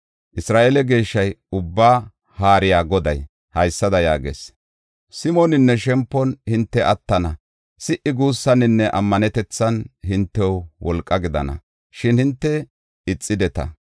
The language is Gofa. Isra7eele Geeshshay, Ubbaa Haariya Goday, haysada yaagees. “Simoninne shempon hinte attana; si77i guussaninne ammanetethan hintew wolqa gidana; shin hinte ixideta.